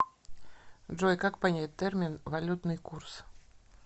джой как понять термин валютный курс